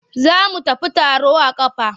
Za mu tafi taro a ƙafa.